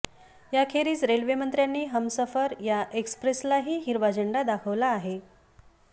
याखेरीज रेल्वेमंत्र्यांनी हमसफर या एक्स्प्रेसलाही हिरवा झेंडा दाखवला आहे